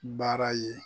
Baara ye